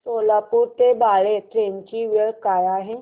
सोलापूर ते बाळे ट्रेन ची वेळ काय आहे